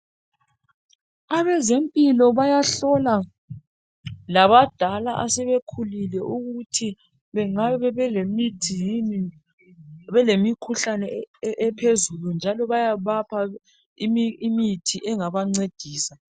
Abezempilo bayahlola labadala asebekhulile ukuthi bengabe belemithi yini, belemikhuhlane ephezulu njalo bayabapha imithi engabancedisa.